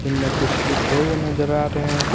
इनमें कुछ लिखे हुए नजर आ रहें--